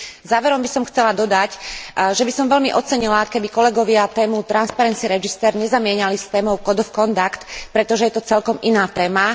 Záverom by som chcela dodať, že by som veľmi ocenila, keby kolegovia tému transparency register nezamieňali s témou code of conduct, pretože je to celkom iná téma.